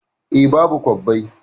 Eh, babu kwabbai